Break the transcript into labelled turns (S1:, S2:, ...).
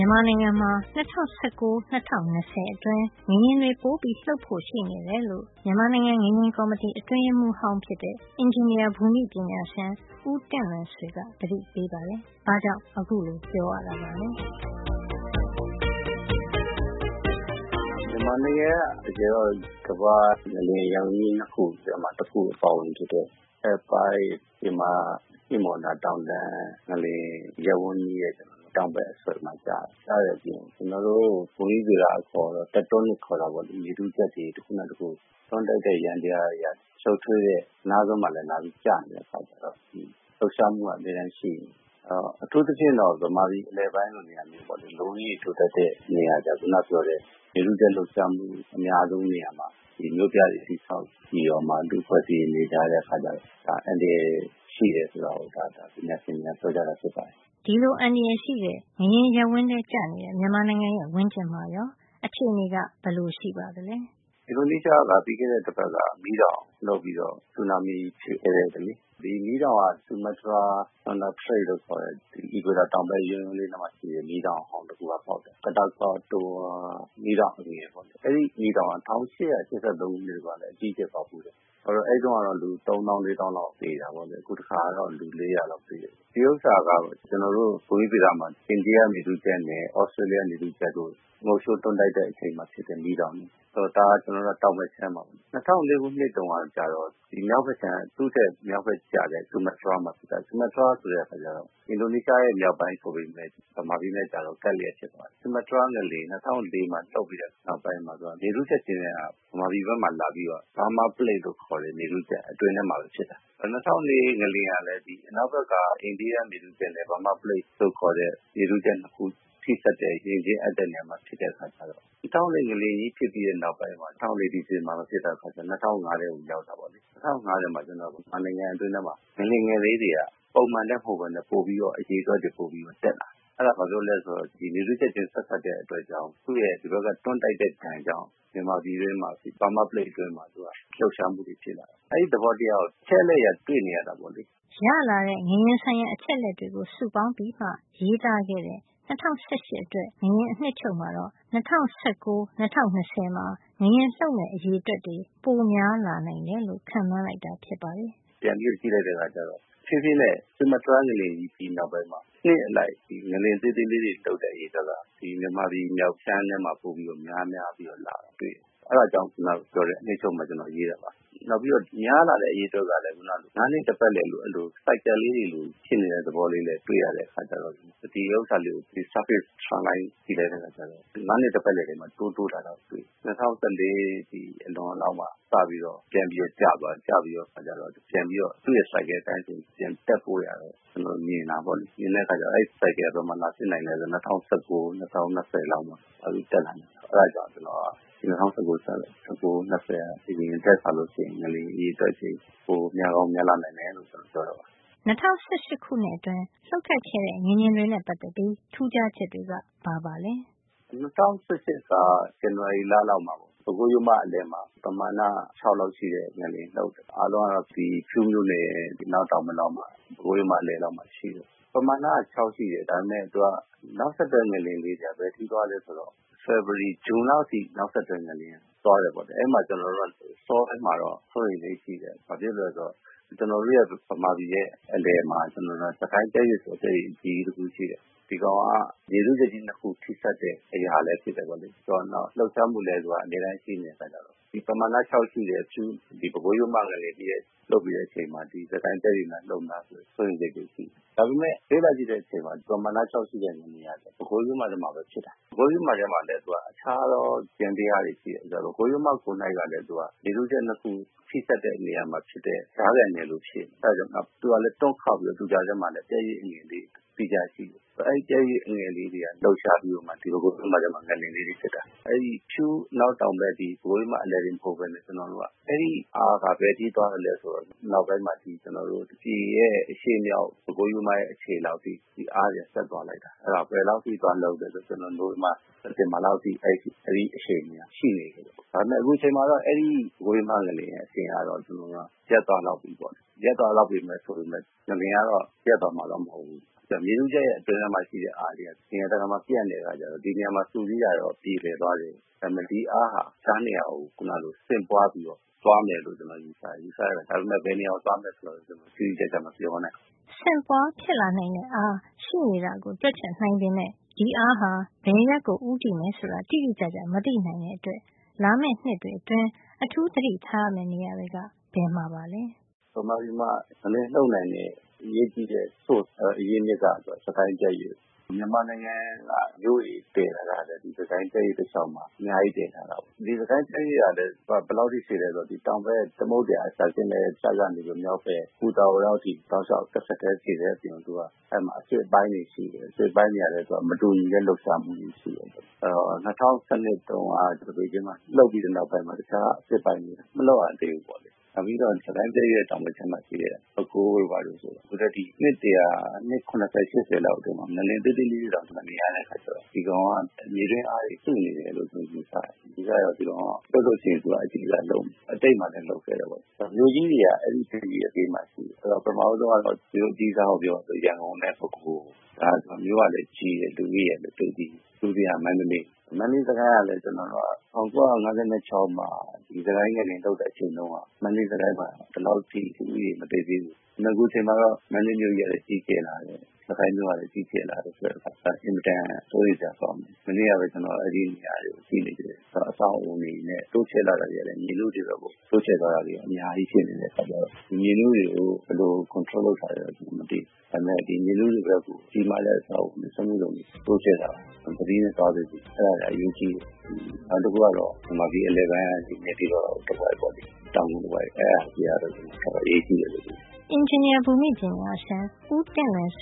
S1: မာနိုင်ငံမှာ ၂၀၁၉ - ၂၀၂၀ အတွင်း ငလျင်တွေ ပိုလှုပ်ဖို့ ရှိနေတယ်လို့ မြန်မာနိုင်ငံ ငလျင်ကော်မတီ အတွင်းရေးမှုးဟောင်းဖြစ်တဲ့ အင်ဂျင်နီယာဘူမိပညာရှင် ဦးတင့်လွင်ဆွေက သတိပေးပါတယ်။ ဘာကြောင့် အခုလိုပြောရတာပါလဲ။ “
S2: မြန်မာနိုင်ငံက တကယ်တော့ ကမ္ဘာ့ငလျင်ရပ်ဝန်းကြီး ၂ ခုထဲမှာ တခု အပါအဝင်ဖြစ်တဲ့ Alpine လို့ခေါ်တဲ့ မြန်မာ-ဟိမဝန္တာ တောင်တန်း ငလျင်ရပ်ဝန်းကြီးရဲ့ တောင်ဘက် အစွန်မှာ ကျတယ်။ အဲဒီလို ကျနေ တဲ့အပြင် ကျနော်တို့ ဘူမိဗေဒ အခေါ် တက်တိုးနစ် tectonic ခေါ်တာပေါ့။ အဲဒါက မြေထုချပ်တွေ တခုနဲ့တခု တွန်းတိုက်တဲ ယန္တရားရဲ့ ရှုပ်ထွေးတဲ့ အနားစွန်းမှာလည်း လာပြီးတော့ ကျနေတဲ့ အခါကျတော့ လှုပ်ရှားမှုက အမြဲတမ်း ရှိနေတယ်။ အဲဒီတော့ အထူူးသဖြင့်ကတော့ မြန်မာပြည် အလယ်ပိုင်းလို နေရာမျိုးပေါ့လေ။ လူဦးရေ ထူထပ်တဲ့ နေရာမျိုးမှာကျတော့ ခုနပြောတဲ့ မြေထုချပ် လှုပ်ရှားမှုအများဆုံး နေရာမှာ မြို့ပြတွေ တည်ဆောက် နေတာ၊ လူအဖွ့ဲအစည်းတွေ နေနေကြတဲ့ အခါကျတော့ ဒါဟာ အန္တရာယ် ရှိတယ်ဆိုတာ ပညာရှင်တွေက ပြောကြတာဖြစ်ပါတယ်
S1: ။ ဒီလို အန္တရာယ်ရှိတဲ့ ငလျင်ရပ်ဝန်းထဲကျရောက်နေတဲ့ မြန်မာနိုင်ငံရဲ့ ဝန်းကျင်မှာရော အခြေနေက ဘယ်လိုရှိပါသလဲ။
S2: “အင်ဒိုနီးရှားနိုင်ငံမှာ ပြီးခဲ့တဲ့တပတ်ကပဲ မီးတောင်ပေါက်ပြီးတော့ ဆူနာမီဖြစ်ခဲ့တယ်။ ဒီမီးတောင်က Sumatra စူမားတြားဒေသမှာ Sandra Sraits စန်ဒရာ ရေလက်ကြား လို့ခေါ်တဲ့ အီကွေတာ တောင်ဘက် ယွန်းယွန်းလေးမှာ ရှိတဲ့နေရာမှာ ပေါက်တယ်။ အဲဒီမီးတောင်က Katatoa မီးတောင် အငယ်လေးပေါ့။ အဲဒီမီးတောင်က ၁၈၈၃ ခုနှစ်တုန်းက အကြီးအကျယ် ပေါက်ဖူးတယ်။ အဲဒီတုန်းကတော့ လူ ၃ သောင်း - ၄ သောင်းလောက် သေတာပေါ့ အခုတခါက ၄၀၀ လောက်သေတယ်။ ဒီဥစ္စာက ကျနော်တို့ ဘူမိဗေဒမှာ အိန္ဒိယမြေထုချပ်နဲ့ သြစတြေးလျ မြေထုချပ်တို့ ငုတ်လျှိုး တွန်းတိုက်တဲ့ အချိန်မှာ ဖြစ်တဲ့ မီးတောင်တွေ။ ဒါက တောင်ဘက်ခြမ်းမှာပေါ့။ ၂၀၀၄ ခုနှစ် တုန်းကကျတော့ သူ့ထက် မြောက်ဖက်ကျတဲ့ အခြမ်း စူမားတြားမှာ ဖြစ်တယ်။ စူမားတြား ဆိုတာက အင်ဒိုနီးရှားရဲ့ မြောက်ပိုင်း ဆိုပေမယ့် မြန်မာပြည်နဲ့ကျတော့ ကပ်လျက်ဖြစ်သွားတယ်။ အဲဒီလို ကပ်လျက်ဖြစ်သွားတော့ ဒီစူမားတြား ငလျင် ၂၀၀၄ မှာ လှုပ်ပြီးတဲ့အခါ နောက်ပိုင်းမှာ သူက မြေထုချပ် ရွေ့တာက မြန်မာပြည်ဘက်မှာ လာပြီးတော့ Burma Plate လို့ခေါ်တဲ့ မြေထုချပ် အတွင်းထဲမှာ ဖြစ်တယ်။ ၂၀၀၄ ငလျင်ကလည်း အနောက်ဖက်က အိန္ဒိယမြေထုချပ်နဲ့ Burma Plate လို့ခေါ်တဲ့ မြန်မာ မြေထုချပ် ၂ ခု ထိစပ်တဲ့ ရင်ချင်းအပ်တဲ့နေရာမှာ လာပြီးဖြစ်တဲ့အခါကျတော့ ၂၀၀၄ ငလျင်ကြီး ဖြစ်ပြီးတဲ့ နောက်ပိုင်းမှာ ကျနော်တို့က ၂၀၀၄ ဆိုတာ ၂၀၀၄ ဒီဇင်ဘာမှာ ဖြစ်တဲ့အခါကျတော့ ၂၀၀၅ ထဲကို ရောက်တာပေါ့လေ။ ၂၀၀၅ ထဲမှာ ကျနော်တို့ မြန်မာနိုင်ငံ အတွင်းထဲမှာ ငလျင်ငယ် ကလေးတွေက ပုံမှန်နဲ့ မဟုတ်ပဲနဲ့ ပိုပြီးတော့ အရေအတွက်တွေ တက်လာတယ်။ အဲဒါက ဘာဖြစ်လို့လည်း ဆိုတော့ ဒီမြေထုချပ်ချင်း ဆက်စပ်တဲ့ အတွက်ကြောင့် သူ့ရဲ့ ဒီဘက်က တွန်းတိုက်တဲ့ ဒဏ်ကြောင့် မြန်မာပြည်ထဲမှာ Burma Plate ထဲမှာ အဲဒီလှုပ်ရှားမှုကြီးက ဖြစ်တယ်။ ဆိုတော့ အဲဒီ သဘောတရားကို အချက်အလက်အရ တွေ့နေရတာပေါ့လေ
S1: ။” ရလာတဲ့ ငလျင်ဆိုင်ရာ အချက်အလက်တွေကို စုပေါင်းပြီးမှ ရေးသားခဲ့တဲ့ ၂၀၁၈ အတွက် ငလျင် အနှစ်ချုပ်မှာတော့ ၂၀၁၉ - ၂၀၂၀ မှာ ငလျင်လှုပ်မယ့် အရေအတွက် ပိုများလာနိုင်တယ်လို့ ခန့်မှန်းလိုက်တာ ဖြစ်ပါတယ်
S2: ။ “ကျနော်က ပြန်ပြီးတော့ လေ့လာလိုက်တဲ့ အခါမှာ ပြန်ကြည့်လိုက်တဲ့ အခါကျတော့ နှစ်အလိုက်မှာလည်း ခုနပြောသလိုပဲ တဖြေးဖြေးနဲ့ စူမားတြားငလျင်ကြီးနောက်ပိုင်းမှာ နှစ်အလိုက် ငလျင်သေးသေးလေးတွေ လှုပ်တဲ့ အရေအတွက်က မြန်မာပြည် မြောက်ခြမ်းထဲမှာပဲ ပိုပြီးတော့ များများ လာတယ်။ အဲဒါကို ကျနော်လာပြီးတော့ တွေ့တယ်။ အဲဒါကြောင့် အနှစ်ချုပ်မှာ ကျနော်ရေးခဲ့တာပါ။ နောက်ပြီးတော့ များလာတဲ့ အရေအတွက်ကလည်း ၅ နှစ် တပတ်လည် cycle လေးတွေလို ဖြစ်နေတဲ့ သဘောလေးလဲ တွေ့ရတဲ့ အခါကျတော့ ဒါကို surface trend line မျက်နှာပြင်ပေါ်တင်ပြီး လိုင်းဆွဲကြည့်လိုက်တဲ့ အခါကျတော့ ၅ နှစ်တပတ်လည်မှာ တိုးတိုးလာတာ တွေ့ရတယ်။ အဲဒီတော့ ၂၀၁၄ အလွန်လောက်မှာ စပြီးတော့ ပြန်ပြီးတော့ ကျသွားတယ်။ ကျသွားပြီးတော့ သူ့နှစ် cycle အတိုင်းဆိုရင် ပြန်ပြီးတော့ တက်ဖို့ရာ မြင်တာပေါ့လေ။ အဲဒီတော့ အဲဒီ cycle က ဘယ်မှာ ပြန်ဖြစ်နိုင်သလဲ ဆိုတော့ ၂၀၁၉ -၂၀၂၀ လောက်မှာ ပြန်ပြီး တက်လာနိုင်တယ်။ အဲဒါကြောင့် ကျနော်က ၂၀၁၉ - ၂၀၂၀ လောက်မှာ အရင်ထက်စာရင် ငလျင်လှုပ်တဲ့ အရေအတွက်တွေ ပိုများကောင်း များလာနိုင်တယ်လို့ ကျနော် ပ
S1: ြောတာပါ။ ၂၀၁၈ ခုနှစ်အတွင်း လှုပ်ခတ်ခဲ့တဲ့ ငလျင်တွေရဲ့ ပတ်သက်ပြီး ထူးခြားချက်တွေက ဘာပါလဲ “၂၀၁၈ က ဇ
S2: န်နဝါရီလလောက်မှာ ပေါ့နော်၊ ပဲခူးရိုးမ အလယ်လောက်မှာ ပမာဏက ၆ လောက်ရှိတဲ့ ငလျင်လှုပ်တယ်။ အားလုံးကတော့ ဖြူးမြို့နယ် အနောက်တောင်ဘက် လောက်မှာ၊ ပဲခူးရိုးမ အလယ်လောက်မှာ ရှိတယ်။ ပမာဏက ၆ ရှိတယ်။ ဒါပေမယ့် သူက နောက်ဆက်တွဲ ငလျင်လေး တွေက ဘယ်အထိ သွားလဲ ဆိုတော့ ဖေဖေါ်ဝါရီ- ဇွန်လောက် အထိ နောက်ဆက်တွဲ ငလျင်တွေ သွားတယ် ပေါ့လေ။ အဲဒီမှာ ကျနော်တို့က အစောပိုင်းမှာတော့ စိုးရိမ်စိတ်ရှိတယ်။ အရင်တုန်းက။ ဘာဖြစ်လို့လည်း ဆိုတော့ ကျနော်တို့ရဲ့ မြန်မာပြည်ရဲ့ အလယ်မှာ စစ်ကိုင်းပြတ်ရွေ့ ဆိုတဲ့ ပြတ်ရွေ့အကြီးကြီး ရှိတယ်။ ဒီပြတ်ရွေ့က မြေထုချပ်ကြီး ၂ ခု ထိစပ်တဲ့ အရာလည်း ဖြစ်တယ် နောက် လှုပ်ရှားမှုလည်း သူက အမြဲတမ်း ရှိနေတဲ့ အခါကျတော့ ဒီပမာဏ ၆ ရှိတဲ့ ဖြူး- ဒီပဲခူးရိုးမ ငလျင် လှုပ်ပြီးတဲ့ အချိန်မှာ ဒီ စစ်ကိုင်းပြတ်ရွေ့များ လှုပ်မလား ဆိုတဲ့ စိုးရိမ်စိတ်တွေ ရှိခဲ့တယ်။ ဒါပေမယ့် အဲဒီအချိန်မှာ လေ့လာကြည့်တဲ့အချိန်မှာ ဒီ ပမာဏ ၆ ရှိတဲ့ ငလျင်က ပဲခူးရိုးမထဲမှာပဲ ဖြစ်တာ။ ဖြစ်တဲ့အခါကျတော့ ပဲခူးရိုးမထဲမှာလည်း သူက အခြားသော ယန္တရားတွေ ရှိတယ်။ ဒီပဲခူးရိုးမ ကိုယ်တိုင်ကလည်း သူက မြေထုချပ် ၂ ခု ထိစပ်တဲ့ နေရာမှာ ရှိတဲ့ ကြားခံနယ်လို ဖြစ်နေတယ်။ အဲဒါကြောင့် သူကလည်း တွန့်ခေါက်ပြီးတော့ သူ့ကြားထဲမှာလည်း ပြတ်ရွေ့အငယ်လေးတွေ သီးခြား ရှိနေတယ်။ ဆိုတော့ အဲဒီ ပြတ်ရွေ့ အငယ်ကလေးတွေကနေ လှုပ်ရှားပြီးတော့မှ သူကလည်း ဒီပဲခူးရိုးမထဲမှာ ငလျင်လေးတွေ ဖြစ်တာ။ အဲဒီ ပဲခူးရိုးမရဲ့ သူ့နေရာ ဖြူးတောင်ဘက် ပဲခူးရိုးမ အလယ်တင် မဟုတ်ပဲနဲ့ အဲဒီအားက ဘယ်အထိ သွားသလဲ ဆိုတော့ အနောက်ပိုင်းမှာ သူက ပြည်ရဲ့ အရှေ့မြောက် ဒီ ပဲခူးရိုးမရဲ့ အခြေလောက်အထိ အားတွေ ဆက်သွားလိုက်တာ။ အဲဒါ ဘယ်လောက် အထိ သွားလှုပ်သလဲဆိုတော့ နိုဝင်ဘာ - ဒီဇင်ဘာ လောက်အထိ အဲဒီ အရှိန်က ရှိနေတယ်။ ဒါပေမယ့် အခုအချိန်မှာတော့ အဲဒီ ခုန ပြောခဲ့တဲ့ ပဲခူးရိုးမ ငလျင်ရဲ့ အရှိန်ကတော့ ရပ်သွားလောက်ပြီပေါ့။ ရပ်သွားလောက်ပြီ ဆိုပေမယ့် သူက ငလျင်ကတော့ ရပ်သွားမှာတော့ မဟုတ်ဖူး။ သူက မြေထုချပ်ရဲ့ အတွင်းထဲမှာ ရှိတဲ့ အားတွေက နေရာတကာမှာ ပြန့်နေတဲ့ အခါကျတော့ ဒီနေရာမှာ စုစည်းတာ ကတော့ ပြေလည်သွားတယ်။ ဒါပေမယ့် ဒီအားဟာ တခြားနေရာကို ခုနကလို ဆင့်ပွါးပြီးတော့ သွားမယ်လို့ ကျနော် ယူဆတယ်။ အဲဒါ ဒါပေမယ့် ဘယ်နေရာကို သွားမယ်ဆိုတာတော့ တိတိကျကျ မပြောနိုင်ဘူး
S1: ။” ဆင့်ပွါးဖြစ်လာနိုင်တဲ့ အားရှိနေတာကို တွက်ချက်နိုင်ပေမယ့် ဒီအားဟာ ဘယ်အရပ်ကို ဦးတည်မယ် ဆိုတာ တိတိကျကျ မသိနိုင်တဲ့အတွက် လာမယ့်နှစ်တွေ အတွင်း အထူးသတိထားရမယ့် နေရာတွေက ဘယ်မှာပါလဲ။ “
S2: မြန်မာပြည်မှာ ငလျင်လှုပ်နိုင်တဲ့ အရေးကြီးတဲ့ source အရင်းအမြစ်က စစ်ကိုင်းပြတ်ရွေ့ပါ။ မြန်မာနိုင်ငံက မြို့ကြီးတွေ တည်ထားတာ ကလည်း စစ်ကိုင်းပြတ်ရွေ့တလျှောက် မှာ အများကြီး တည်ထားတာပေါ့။ ဒီစစ်ကိုင်းပြတ်ရွေ့ကလည်း ဘယ်လောက်အထိ ရှည်သလဲ ဆိုတော့ သူက တောင်ဘက် သမုဒ္ဒရာအစပ်ကနေပြီးတော့ မြောက်ဖက် ပူတာအို လောက်အထိ တောက်လျှောက် တဆက်ထဲရှည်တဲ့အပြင် သူက အဆစ်အပိုင်းတွေ ရှိနေတယ်။ အဆစ်အပိုင်းတွေ ကလည်း သူက မတူညီတဲ့ လှုပ်ရှားမှုတွေ ရှိတယ်။ အဲဒီတော့ ၂၀၁၂ တုန်းက သပိတ်ကျင်းမှာ လှုပ်ပြီးတဲ့ နောက်မှာ တခြား အဆစ်အပိုင်းတွေက မလှုပ်ရသေးဘူး။ နောက်ပြီးတော့ စစ်ကိုင်းပြတ်ရွေ့ရဲ့ တောင်ဘက်ခြမ်းမှာ ရှိတဲ့ ပဲခူးတို့ဘာတို့ကလည်း အခုထက်ထိ အနှစ်တရာ - အနှစ် ၇၀- ၈၀ လောက် အတွင်းမှာ ငလျင်သေးသေးလေးတွေတောင် မမြင်ရတဲ့ အခါကျတော့ သူက မြေတွင်းအားတွေ စုနေမယ်လို့ ကျနော် ယူဆတယ်။ နောက်တော့ သူက လှုပ်လို့ရှိရင် အဓိက လှုပ်မယ်။ သူက အတိတ်မှာလည်း လှုပ်ခဲ့တယ်။ နောက် မြို့ကြီးတွေက အဲဒီ ပြတ်ရွေ့ရဲ့ ဘေးမှာ ရှိနေတယ်။ အဲဒီတော့ ပထမဦးဆုံးကတော့ မြို့အကြီးစားကို ပြောပါဆိုရင် ရန်ကုန်နဲ့ ပဲခူး။ ဒါတွေက မြို့ကလည်း ကြီးတယ်။ လူဦးရေကလည်း များတယ်။ ဒုတိယကတော့ မန္တလေး။ မန္တလေး - စစ်ကိုင်းကလည်း ကျနော်တို့က ၁၉၅၆ မှာ စစ်ကိုင်းငလျင် လှုပ်တဲ့ အချိန်မှာ မန္တလေး - စစ်ကိုင်းမှာ လူဦးရေက ဒီလောက် မသိပ်သည်း သေးဘူး။ အခု အချိန်မှာတော့ မန္တလေးမြို့ကြီးကလည်း ကြီးကျယ်လာတယ်။ စစ်ကိုင်းမြို့ကလည်း ကြီးကျယ် လာတယ်။ ဆိုတဲ့အခါကျတော့ အင်မတန် စိုးရိမ်စရာကောင်းတယ်။ မနေ့ကပဲ ကျနော် အဲဒီနေရာတွေကို ကြည့်ဖြစ်သေးတယ်။ အဲဒီမှာ အဆောက်အအုံတွေ တိုးချဲ့လာတာ တွေကလည်း မြေနုတွေ ဘက်ကို တိုးချဲ့သွားတာတွေက အများကြီး ဖြစ်နေတဲ့ အခါကျတော့ ဒီမြေနုတွေကို ဘယ်လို control လုပ်ထားသလဲတော့ မသိဘူး။ ဒါပေမယ့် ဒီမြေနုတွေ ဘက်ကို ကြီးမားတဲ့ အဆောက်အဦးတွေတိုးချဲ့တာ၊ စက်မှုဇုံ တိုးချဲ့တာ သတိနဲ့ သွားစေချင်တယ်။ အဲဒါတွေက အရေးကြီးတယ်။ နောက်တခုကတော့ မြန်မာပြည် အလယ်ပိုင်းက ဒီ နေပြည်တော် တဝိုက်ပေါ့လေ။ တောင်ငူ တဝိုက်က အဲဒါတွေကတော့ တော်တော် အရေးကြီးတယ်လို့ ထင်ပါတ
S1: ယ်။” အင်ဂျင်နီယာဘူမိပညာရှင် ဦးတင့်လွင်ဆ